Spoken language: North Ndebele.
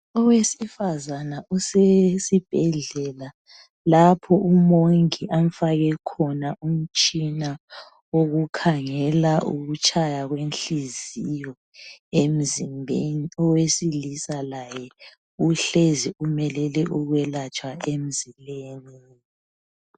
Owesifazana usesibhedlela lapha umongi amfake khona umtshina wokukhangela ukutshaya kwenhliziyo emzimbeni. Owesilisa laye uhlezi umelele ukwelatshwa emzimbeni.